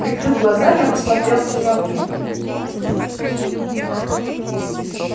прикрыв глаза я посмотрел в темноту